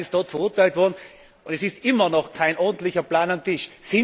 Italien ist dort verurteilt worden, und es ist immer noch kein ordentlicher Plan auf dem Tisch.